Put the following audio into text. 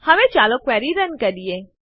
હવે ચાલો query run કરીએ